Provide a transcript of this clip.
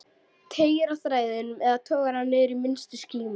Teygir á þræðinum eða togar hann niður í minnstu skímu?